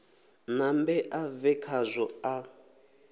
nambe a bve khazwo a